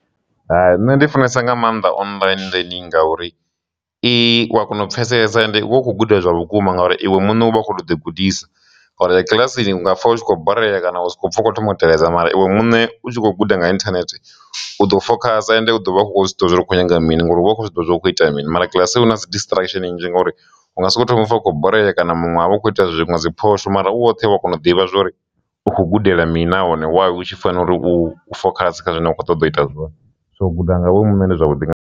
Hai, nṋe ndi funesa nga maanḓa online learning ngauri i wa kona u pfhesesa ende u khou guda zwa vhukuma ngauri iwe muṋe u vha a kho to ḓi gudisa nga uri kiḽasini u nga pfha u tshi khou borea kana u sokou pfha u khou thoma u teledza mara iwe muṋe u tshi khou guda nga internet u ḓo fokhasa ende u ḓo vha u kho zwiita uri u khou nyaga mini ngori u kho zwiḓivha zwori hukho itea mini, mara kiḽasi hu na dzi distraction nnzhi ngauri uvha u kho soko thoma u pfha u khou borea kana munwe are ukho ita zwinwe dzi phosho mara u woṱhe wa kona u ḓivha zwori u kho gudela mini na hone wavho hu tshi fanela uri u fokhasa kha zwine wa kho ṱoḓa u ita zwone, so u guda nga vho muṋe ndi zwavhuḓi nga maanḓa.